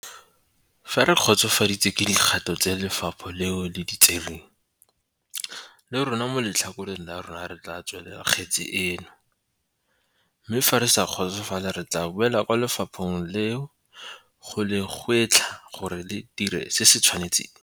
"Fa re kgotsofaditswe ke dikgato tse lefapha leo le di tsereng, le rona mo letlhakoreng la rona re tla tswalela kgetse eno, mme fa re sa kgotsofala re tla boela kwa lefapheng leo go le gwetlha gore ba dire se se tshwanetseng."